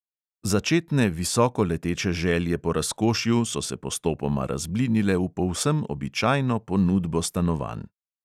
Začetne visokoleteče želje po razkošju so se postopoma razblinile v povsem običajno ponudbo stanovanj.